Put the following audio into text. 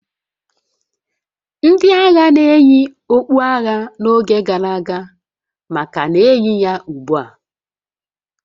Ndị agha na-eyi okpu agha n'oge gara aga ma ka na-eyi ya ugbu a